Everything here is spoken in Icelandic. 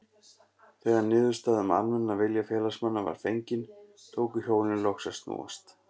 Þegar niðurstaða um almennan vilja félagsmanna var fengin, tóku hjólin loks að snúast.